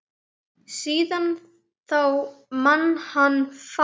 Síðan þá man hann fátt.